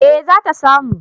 eh zata samu